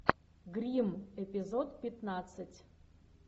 гримм эпизод пятнадцать